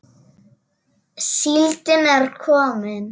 Síldin er komin!